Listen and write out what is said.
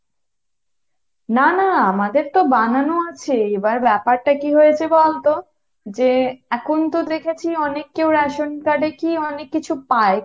না না আমাদের তো বানানো আছে, এইবার ব্যাপারটা কি হয়েছে বলতো যে এখন তো দেখেছি অনেক কেও রেশন card কী অনেক কিছু পায়।